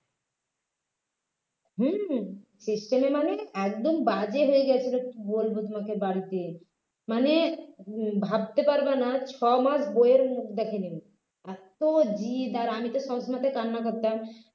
হম system এ মানে একদম বাজে হয়ে গিয়েছিল কি বলবো তোমাকে বাড়িতে মানে উম ভাবতে পারবে না ছয় মাস বইয়ের মুখ দেখেনি এত জেদ আর আমি তো সবসময়তে কান্না করতাম